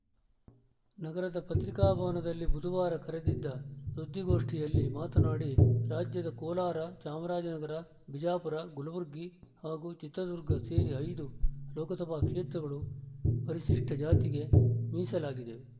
ನಗರದ ಪತ್ರಿಕಾ ಭವನದಲ್ಲಿ ಬುಧವಾರ ಕರೆದಿದ್ದ ಸುದ್ದಿಗೋಷ್ಠಿಯಲ್ಲಿ ಮಾತನಾಡಿ ರಾಜ್ಯದ ಕೋಲಾರ ಚಾಮರಾಜನಗರ ಬಿಜಾಪುರ ಕಲ್ಬುರ್ಗಿ ಹಾಗೂ ಚಿತ್ರದುರ್ಗ ಸೇರಿ ಐದು ಲೋಕಸಭಾ ಕ್ಷೇತ್ರಗಳು ಪರಿಶಿಷ್ಟಜಾತಿಗೆ ಮೀಸಲಾಗಿವೆ